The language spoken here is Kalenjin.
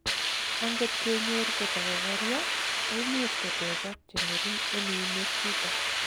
angot kenyor kotakokoria, koimuch kotechak chengering en uinwek chuton